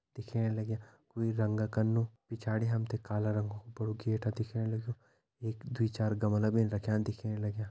दिखेण लग्यां कुई रंगा कनु पिछाड़ी हम ते काला रंग कु बड़ु गेटा दिखेण लग्युं एक दुई चार गमला भीन रख्यां दिखेण लग्यां।